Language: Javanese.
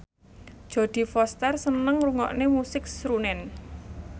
Jodie Foster seneng ngrungokne musik srunen